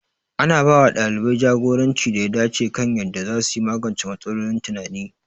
Ana ba wa ɗalibai jagoranci da ya dace kan yadda za su magance matsalolin tunani.